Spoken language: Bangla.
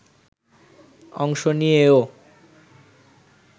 অংশ নিয়েও